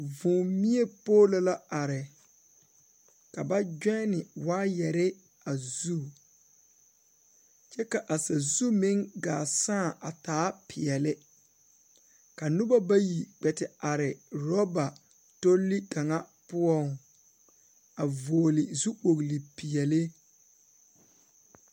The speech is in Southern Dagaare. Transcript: Vūū mie poolo la are ka ba gyɔnne waayarre a zu kyɛ ka sazu meŋ gaa sãã a taa peɛle ka noba bayi kpɛ te are raba tolle kaŋa poɔŋ a vɔgle zu kpogle peɛɛli.